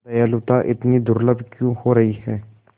दयालुता इतनी दुर्लभ क्यों हो रही है